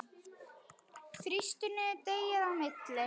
Þrýstu niður deigið á milli.